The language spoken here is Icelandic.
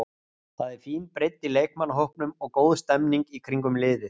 Það er fín breidd í leikmannahópnum og góð stemmning í kringum liðið.